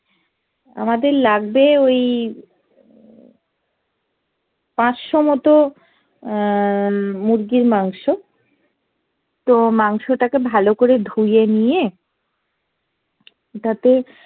আমাদের লাগবে ওই পাঁচশো মতো আহ মুরগির মাংস তো মাংসটাকে ভালো করে ধুয়ে নিয়ে তাতে